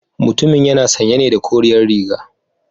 Mutumun yana sanye ne da koriyar riga